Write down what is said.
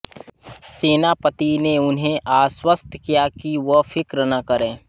सेनापति ने उन्हें आश्वस्त किया कि वह फ़िक्र न करें